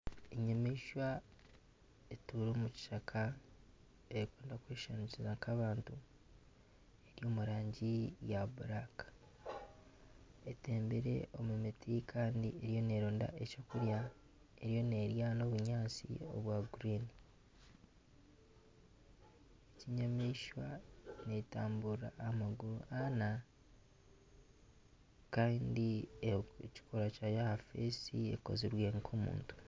Enyamaishwa etuura omu kishaka erikukunda kweshushaniriza nk'abantu eri omu rangi erikwiragura etembire omu miti kandi eriho neeronda ebyokurya eriyo n'erya nana obunyatsi obwa kinyaatsi enyamaishwa n'etamburira aha maguru ana kandi ekikorwa kyayo aha maisho ekozirwe nk'omuntu.